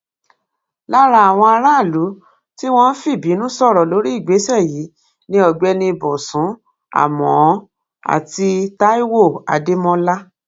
lára àwọn aráàlú tí wọn fìbínú sọrọ lórí ìgbésẹ yìí ni ọgbẹni bosun àmọọ àti taiwo adémọlá